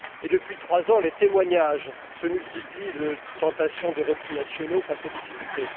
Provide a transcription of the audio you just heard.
Depuis trois ans, les témoignages se multiplient de tentations de replis nationaux face aux difficultés.